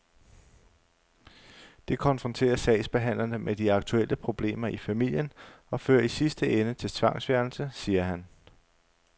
Det konfronterer sagsbehandlerne med de aktuelle problemer i familien og fører i sidste ende til tvangsfjernelse, siger han.